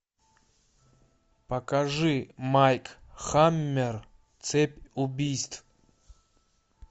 покажи майк хаммер цепь убийств